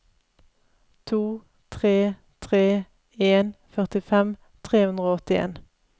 to tre tre en førtifem tre hundre og åttien